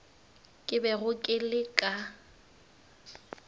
ke bego ke le ka